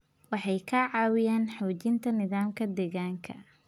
Waxay ka caawiyaan xoojinta nidaamka deegaanka.